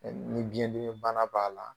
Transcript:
Ni biyɛndimi bana b'a la